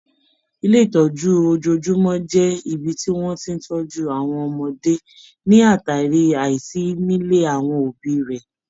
Ilé ìtọ́jú ojojúmọ́ jẹ ibi tí wọ́n ti ń tọjú àwọn ọmọdé ní àtàrí àìsí nílé àwọn òbí rẹ̀.